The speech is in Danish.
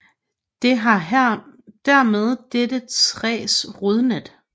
Det har dermed dette træs rodnet